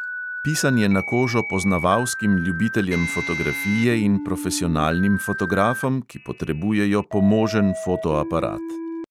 Pisan je na kožo poznavalskim ljubiteljem fotografije in profesionalnim fotografom, ki potrebujejo pomožen fotoaparat.